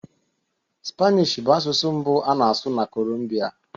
Spanish bụ asụsụ mbụ a na-asụ na Colombia